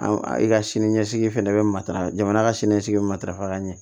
An i ka sini ɲɛsigi fɛnɛ bɛ matarafa jamana ka siniɲɛsigi bɛ matarafa ka ɲɛ